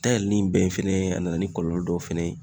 Da yɛlɛli in bɛn fɛnɛ ye a nana ni kɔlɔlɔ dɔw fɛnɛ ye